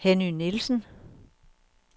Henny Nielsen